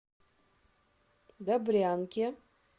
добрянке